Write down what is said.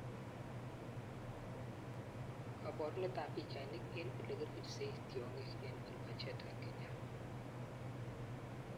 Kaporuneet ap pichainik eng olekiripsei tyong'iik en OlPejet, Kenya